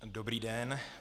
Dobrý den.